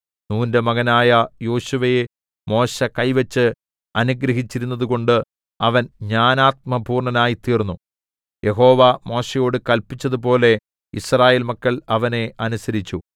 നൂന്റെ മകനായ യോശുവയെ മോശെ കൈവച്ച് അനുഗ്രഹിച്ചിരുന്നതുകൊണ്ട് അവൻ ജ്ഞാനാത്മപൂർണ്ണനായിത്തീർന്നു യഹോവ മോശെയോടു കല്പിച്ചതുപോലെ യിസ്രായേൽ മക്കൾ അവനെ അനുസരിച്ചു